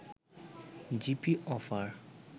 GP offer